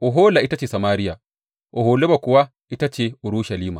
Ohola ita ce Samariya, Oholiba kuwa ita ce Urushalima.